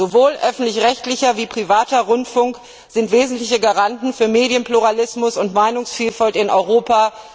Sowohl öffentlich rechtlicher wie auch privater Rundfunk sind wesentliche Garanten für Medienpluralismus und Meinungsvielfalt in Europa.